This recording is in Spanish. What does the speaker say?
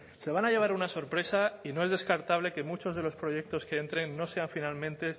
se van a llevar una sorpresa y no es descartable que muchos de los proyectos que entren no sean finalmente